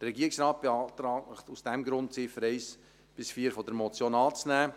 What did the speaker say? Der Regierungsrat beantragt Ihnen aus diesem Grund, die Ziffern 1–4 der Motion anzunehmen.